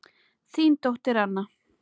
Þín dóttir Anna.